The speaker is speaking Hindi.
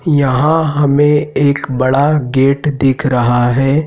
यहां हमे एक बड़ा गेट दिख रहा है।